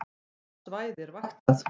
Hvaða svæði er vaktað